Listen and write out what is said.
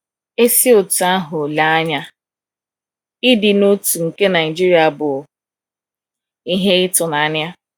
E si otú ahụ lee ya anya, ịdị n’otu nke Naijiria bụ ihe ịtụnanya.